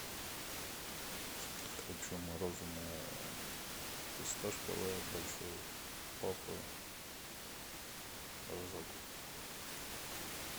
хочу мороженое фисташковое большой папа рожок